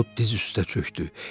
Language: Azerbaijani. O diz üstə çökdü.